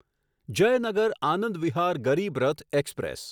Jaynagar Anand Vihar Garib Rath express